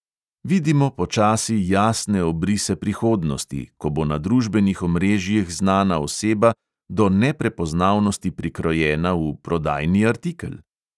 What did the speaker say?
Vidimo počasi jasne obrise prihodnosti, ko bo na družbenih omrežjih znana oseba do neprepoznavnosti prikrojena v prodajni artikel?